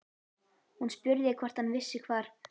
Hún spurði hvort hann vissi hvar